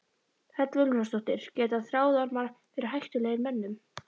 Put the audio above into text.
Hödd Vilhjálmsdóttir: Geta þráðormar verið hættulegir mönnum?